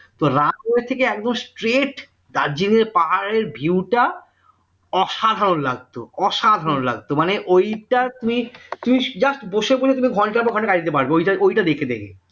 তো runway একদম ঠিক straight দার্জিলিং এর পাহাড়ের view টা অসাধারণ লাগত অসাধারণ লাগত মানে ওইটা তুমি তুমি just বসে বসে তুমি ঘন্টার পর ঘন্টা কাটাতে পারবে ওইটা দেখে দেখে